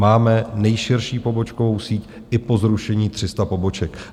Máme nejširší pobočkovou síť i po zrušení 300 poboček.